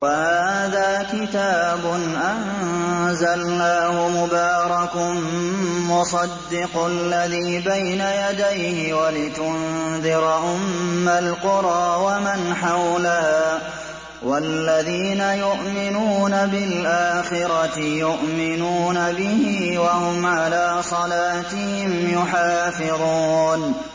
وَهَٰذَا كِتَابٌ أَنزَلْنَاهُ مُبَارَكٌ مُّصَدِّقُ الَّذِي بَيْنَ يَدَيْهِ وَلِتُنذِرَ أُمَّ الْقُرَىٰ وَمَنْ حَوْلَهَا ۚ وَالَّذِينَ يُؤْمِنُونَ بِالْآخِرَةِ يُؤْمِنُونَ بِهِ ۖ وَهُمْ عَلَىٰ صَلَاتِهِمْ يُحَافِظُونَ